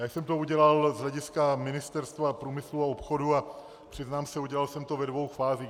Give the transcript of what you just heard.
Já jsem to udělal z hlediska Ministerstva průmyslu a obchodu a přiznám se, udělal jsem to ve dvou fázích.